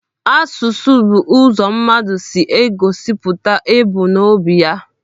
Asụsụ bụ ụzọ mmadụ si egosipụta ebumnobi ya.